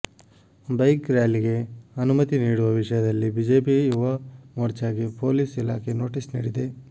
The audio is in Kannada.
ಬೈಕ್ ರ್ಯಾಲಿಗೆ ಅನುಮತಿ ನೀಡುವ ವಿಷಯದಲ್ಲಿ ಬಿಜೆಪಿ ಯುವ ಮೋರ್ಚಾಗೆ ಪೊಲೀಸ್ ಇಲಾಖೆ ನೋಟಿಸ್ ನೀಡಿದೆ